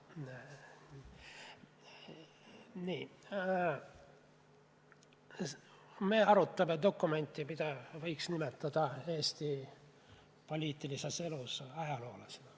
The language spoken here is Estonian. Nii, me arutame dokumenti, mida võiks nimetada Eesti poliitilises elus ajalooliseks.